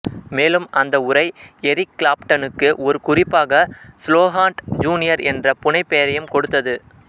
மேலும் அந்த உறை எரிக் கிளாப்டனுக்கு ஒரு குறிப்பாக ஸ்லோஹாண்ட் ஜூனியர் என்ற புனைபெயரையும் கொடுத்தது